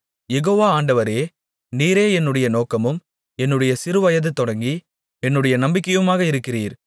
யெகோவா ஆண்டவரே நீரே என்னுடைய நோக்கமும் என்னுடைய சிறுவயது தொடங்கி என்னுடைய நம்பிக்கையுமாக இருக்கிறீர்